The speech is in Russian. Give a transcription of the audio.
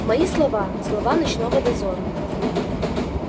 мои слова слова ночного дозора